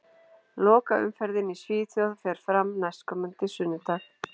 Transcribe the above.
Lokaumferðin í Svíþjóð fer fram næstkomandi sunnudag.